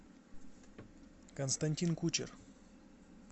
константин кучер